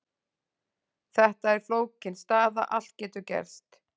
Þetta er flókin staða, allt getur gerst.